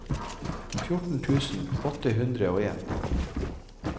fjorten tusen åtte hundre og en